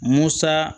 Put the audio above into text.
Musa